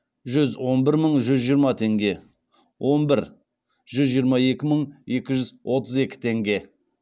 жүз он бір мың жүз жиырма теңге он бір жүз жиырма екі мың екі жүз отыз екі теңге